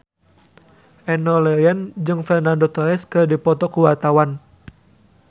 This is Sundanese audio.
Enno Lerian jeung Fernando Torres keur dipoto ku wartawan